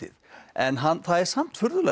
en það er samt furðulegt